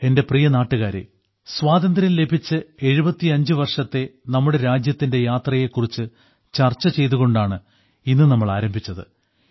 എന്റെ പ്രിയ നാട്ടുകാരേ സ്വാതന്ത്ര്യം ലഭിച്ച് 75 വർഷത്തെ നമ്മുടെ രാജ്യത്തിന്റെ യാത്രയെ കുറിച്ച് ചർച്ച ചെയ്തുകൊണ്ടാണ് ഇന്ന് നമ്മൾ ആരംഭിച്ചത്